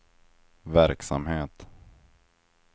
verksamhet